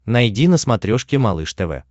найди на смотрешке малыш тв